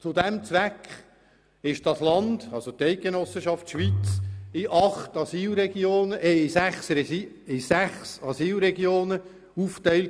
Zu diesem Zweck wurde die Schweiz in sechs Asylregionen aufgeteilt.